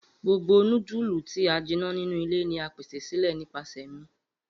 Gbogbo nudulu ti a jinna ninu ile ni a pese sile nipasẹ mi.